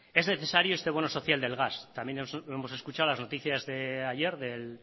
es necesario este bono social del gas también lo hemos escuchado en las noticias de ayer del